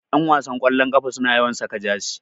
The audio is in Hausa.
Ƴanwasan ƙwallon ƙafa suna yawan saka jasi